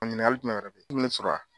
Bɔn ɲininkali jumɛn wɛɛrɛ be yen dumuni sɔrɔ a